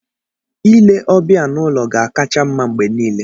Ile ọbịa n'ụlọ ga-akacha mma mgbe niile.